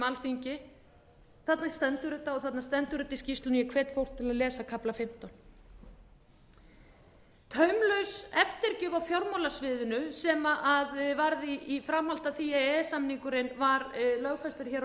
alþingi þarna stendur þetta g þarna stendur þetta í skýrslunni í hverjum pósti í kafla fjórðu hömlulaus eftirgjöf á fjármálasviðinu sem var í framhaldi af því að e e s samningurinn var lögfestur hér